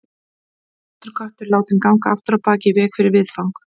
Svartur köttur látinn ganga afturábak í veg fyrir viðfang.